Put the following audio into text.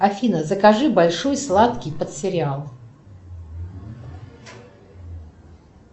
афина закажи большой сладкий под сериал